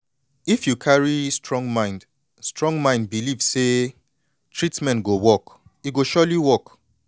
if you carry strong mind strong mind believe say treatment go work e go surely work